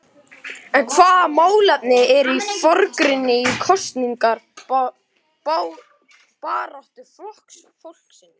En hvaða málefni eru í forgrunni í kosningabaráttu Flokks fólksins?